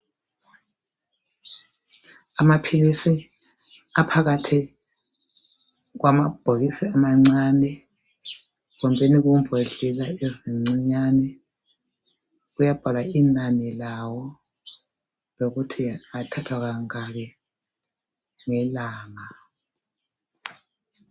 Amaphilisi aphakathi kwamabhokisi amancane kumbeni kumbondlela ezincinyane kuyabhalwa inani lawo lokuthi athathwa kangaki ngelanga.